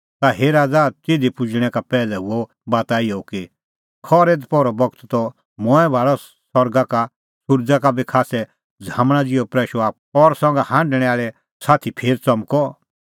ता हे राज़ा तिधी पुजणैं का पैहलै हुअ बाता इहअ कि खरै दपहरो बगत त मंऐं भाल़अ सरगा का सुरज़ा का बी खास्सै झ़ामणा ज़िहअ प्रैशअ आप्पू और संघा हांढणै आल़ै साथी फेर च़मकदअ